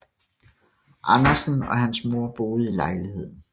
Andersen og hans mor boende i lejligheden